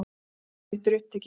Rúmið mitt er upptekið.